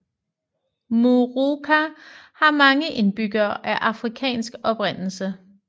Moorooka har mange indbyggere af afrikansk oprindelse